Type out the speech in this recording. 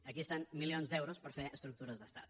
aquí hi ha milions d’euros per fer estructures d’estat